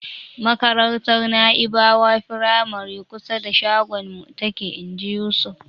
"Makarantar Na'ibawa firamare kusa da shagonmu take." Inji Yusuf.